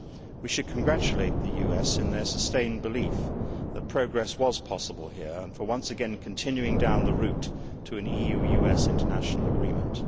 We should congratulate the US in their sustained belief that progress was possible here, and for once again continuing down the route to an EU US international agreement.